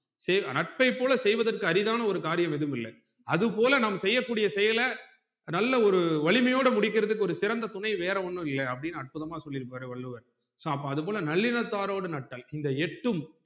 சேர் நட்பைப்போல செய்வதற்க்கு அரிதான ஒரு காரியம் எதும் இல்ல அதுபோல நம் செய்ய கூடிய செய்யல நல்ல ஒரு வலிமையோட முடிக்குறதுக்கு ஒரு சிறந்த துணை வேற ஒன்னும் இல்ல அப்புடின்னு அற்புதமா சொல்லிருப்பாரு வள்ளுவர் so அதுபோல நல்லினதாரோட நட்டள் இந்த எட்டும்